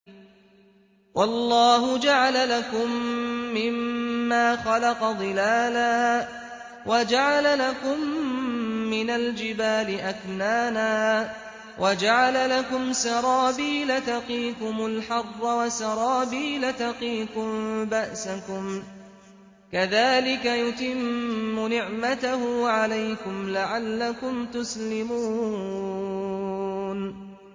وَاللَّهُ جَعَلَ لَكُم مِّمَّا خَلَقَ ظِلَالًا وَجَعَلَ لَكُم مِّنَ الْجِبَالِ أَكْنَانًا وَجَعَلَ لَكُمْ سَرَابِيلَ تَقِيكُمُ الْحَرَّ وَسَرَابِيلَ تَقِيكُم بَأْسَكُمْ ۚ كَذَٰلِكَ يُتِمُّ نِعْمَتَهُ عَلَيْكُمْ لَعَلَّكُمْ تُسْلِمُونَ